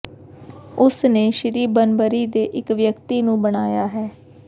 ਉਸਨੇ ਸ਼੍ਰੀ ਬਨਬਰੀ ਦੇ ਇੱਕ ਵਿਅਕਤੀ ਨੂੰ ਬਣਾਇਆ ਹੈ